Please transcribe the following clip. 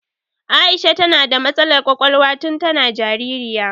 Aisha ta na da matsalar ƙwaƙwalwa tun ta na jaririya